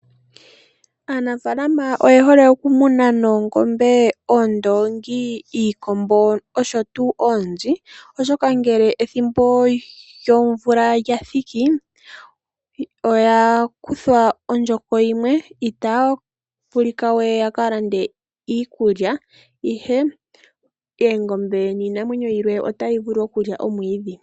Aanafaalama oyehole okumuna noongombe, oondoongi, iikombo oshowo oonzi oshoka ngele ethimbo lyomvula ngele lya thiki oya kuthwa ondjoko yimwe itaya ka landa we iikulya ihe oongombe niinamwenyo yilwe otaya vulu okulya omwiidhi.